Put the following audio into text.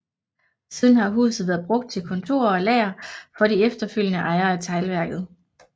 Siden har huset været brugt til kontorer og lager for de efterfølgende ejere af teglværket